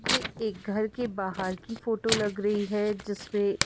ये एक घर के बाहर की फोटो लग रही है जिसमें--